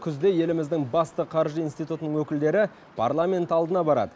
күзде еліміздің басты қаржы институтының өкілдері парламент алдына барады